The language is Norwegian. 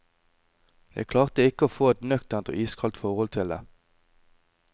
Jeg klarte ikke å få et nøkternt og iskaldt forhold til det.